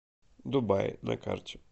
дубай на карте